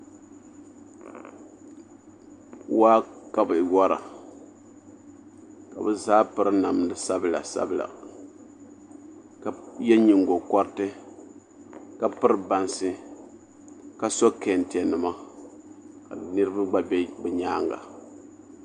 Waa ka bi wora ka bi zaa piri namdi sabila sabila shab yɛ nyingokoriti ka piri bansi ka so kɛntɛ nima ka niraba gba bɛ bi nyaanga